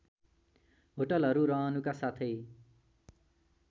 होटलहरू रहनुका साथै